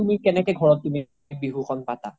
কেনেকে তুমি ঘৰত বিহু খন পাতা